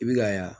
I bi ka yan